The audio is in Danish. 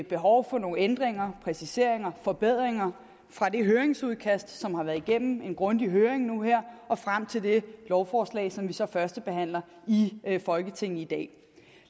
behov for nogle ændringer præciseringer forbedringer fra det høringsudkast som har været igennem en grundig høring nu her og frem til det lovforslag som vi så førstebehandler i folketinget i dag